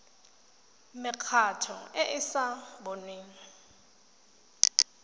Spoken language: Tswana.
mekgatlho e e sa boneng